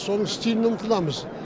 соның стиліне ұмтыламыз